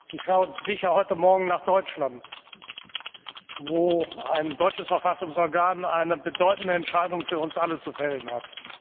Sie schaut sicher heute Morgen nach Deutschland, wo ein deutsches Verfassungsorgan eine bedeutende Entscheidung für uns alle zu fällen hat.